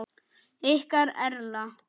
Ykkar Erla.